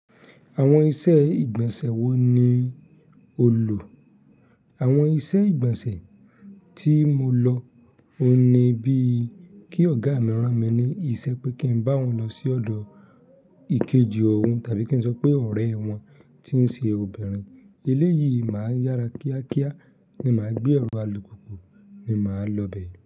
Àwọn iṣẹ́ ìgbọ̀nsẹ̀ wo ni o lò? Àwọn iṣẹ́ ìgbọ̀nsẹ̀ tí mo lọ, ó ni bí kí ọ̀gá mìíràn mi ní iṣẹ́ pé kí n bá wọn lọ sí ọ̀dọ̀ ìkejì ọ̀run tàbí kí n sọ pé ọ̀rẹ́ wọn tí ń ṣe obìnrin. Eléyìí máa ń yára kíákíá ni màá gbé ọrọ̀ alùpùpù ni màá lọ bẹ̀.